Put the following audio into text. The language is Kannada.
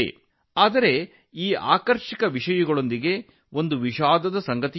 ಆದರೆ ಈ ಆಸಕ್ತಿದಾಯಕ ಸಂಗತಿಗಳ ಜೊತೆಗೆ ಬೇಸರದ ವಿಷಯವೂ ಇದೆ